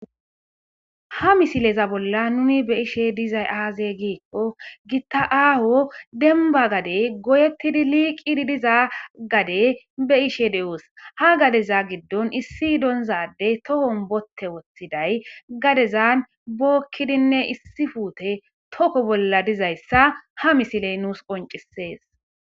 Ha misileza bolla nuni be'ishe dizay aze giko gita aho demba gade goyetidi liqidi diza gade be'isje de'os ha gadeza gidon issi donza Adey tohon bote wothiday gadezan bokidine issi pute toko bolla dizaysa ha misiley nus qoncises.